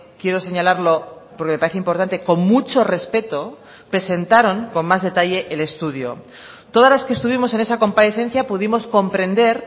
quiero señalarlo porque me parece importante con mucho respeto presentaron con más detalle el estudio todas las que estuvimos en esa comparecencia pudimos comprender